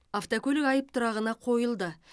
автокөлік айып тұрағына қойылды